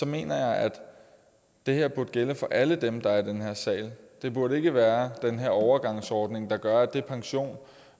mener jeg at det her burde gælde for alle dem som er i den her sal der burde ikke være den her overgangsordning der gør at den pension